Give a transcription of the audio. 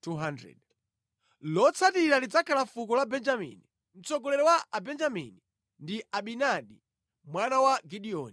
Lotsatira lidzakhala fuko la Benjamini. Mtsogoleri wa Abenjamini ndi Abidani mwana wa Gideoni.